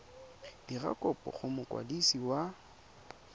dira kopo go mokwadisi wa